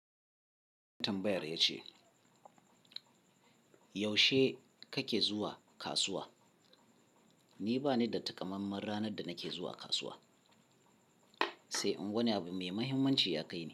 Tambayar ya ce, yaushe kake zuwa kasuwa? Ni bani da takamaiman ranar da nake zuwa kasuwa, sai in wani abu me muhimmanci ya kai ni.